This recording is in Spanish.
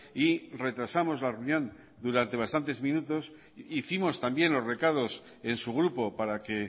y retrasamos la reunión durante bastantes minutos hicimos también los recados en su grupo para que